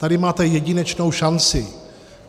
Tady máte jedinečnou šanci.